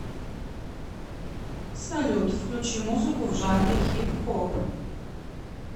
салют включи музыку в жанре хип хоп